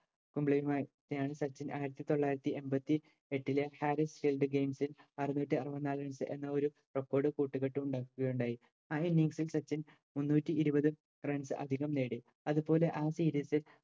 സച്ചിൻ ആരത്തിതൊള്ളായിരത്തി എൺപത്തിയെട്ടിലെ harris shield games ഇൽ അറ്ന്നൂറ്റിയരുപത്തനാൽ runs എന്നാരു record കൂട്ടുകെട്ട് ഉണ്ടാക്കി ഉണ്ടായി ആ innings ഇൽ സച്ചിൻ മുന്നൂറ്റിയിരുപത് runs അതികം നേടി അത് പോലെ ആ series ഇൽ